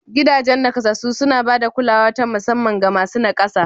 Gidajen naƙasassu suna ba da kulawa ta musamman ga masu naƙasa